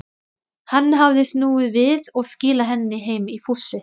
Hann hafði snúið við og skilað henni heim í fússi.